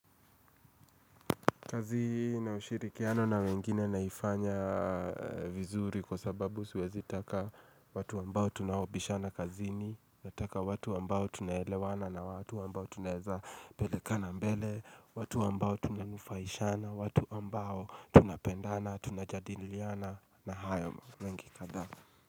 Kazi na ushirikiano na wengine naifanya vizuri kwa sababu siwezitaka watu ambao tunaobishana kazini, Nataka watu ambao tunaelewana na watu ambao tunaezapelekana mbele, watu ambao tunanufaishana, watu ambao tunapendana, tunajadiliana na hayo mengi kadhaa.